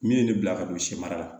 Min ye ne bila ka don si mara la